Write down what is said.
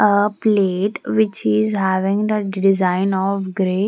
A plate which is having the design of grey.